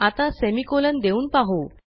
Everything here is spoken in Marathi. आता सेमिकोलॉन देऊन पाहू